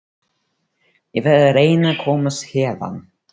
Ég verð að reyna að komast héðan.